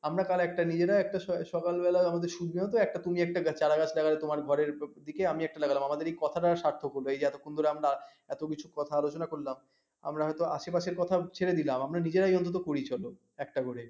আমরা তার একটা দিয়ে দেয় সকালবেলা আমাদের সিদ্ধান্ত চারাগাছ লাগায় তোমার ঘরের এদিকে আমি একটা লাগালাম স্বার্থক লহো এই যে এতক্ষন আমরা এত কিছু কথা আলোচনা করলাম আমরা হয়তো আশেপাশের কথা ছেড়ে দিলাম আমরা নিজেরাই অন্তৎ করি চলো একটা করে